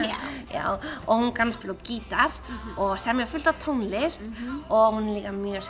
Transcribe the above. já og hún kann að spila á gítar og semja fullt af tónlist og hún er líka mjög